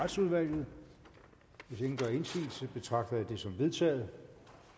retsudvalget hvis ingen gør indsigelse betragter jeg det som vedtaget